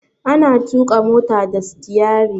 Ana tuƙa mota da stiyari.